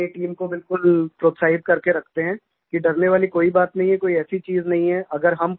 हम अपनी टीम को बिलकुल प्रोत्साहित करके रखते हैं कि डरने वाली कोई बात नहीं है कोई ऐसी चीज नहीं है